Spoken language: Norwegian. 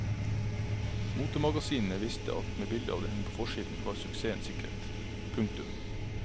Motemagasinene visste at med bilde av henne på forsiden var suksessen sikret. punktum